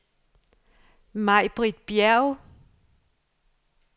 Maj-Britt Bjerg